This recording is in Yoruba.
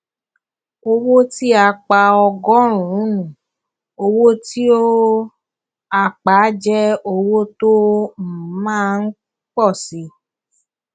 owó tí a pa ọgọrùnún owó tí um a pa jẹ owó tó um má um ń pọ síi